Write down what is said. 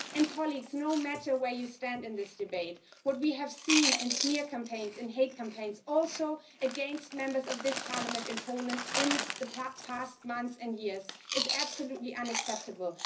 Colleagues, no matter where you stand in this debate, what we have seen in smear campaigns, in hate campaigns, also against Members of this Parliament in Poland in the past month and years, is absolutely unacceptable.